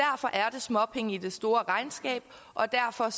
småpenge i det store regnskab og derfor